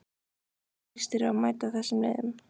Hvernig líst þér á að mæta þessum liðum?